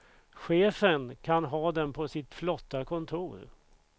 Chefen kan ha den på sitt flotta kontor.